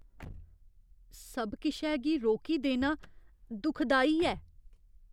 सब किशै गी रोकी देना दुखदाई ऐ।